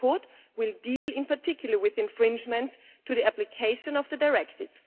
The report will deal, in particular, with infringements to the application of the directive.